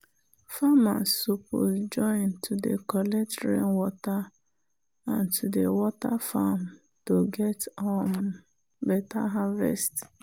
farmers suppose join to dey collect rainwater and to dey water farm to get um better harvest.